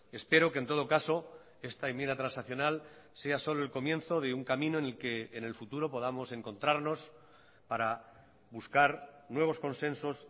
espero que en todo caso esta enmienda transaccional sea solo el comienzo de un camino en el que en el futuro podamos encontrarnos para buscar nuevos consensos